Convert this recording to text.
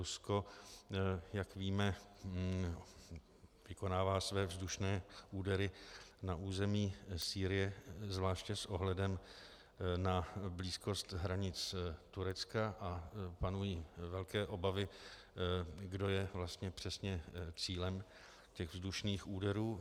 Rusko, jak víme, vykonává své vzdušné údery na území Sýrie zvláště s ohledem na blízkost hranic Turecka a panují velké obavy, kdo je vlastně přesně cílem těch vzdušných úderů.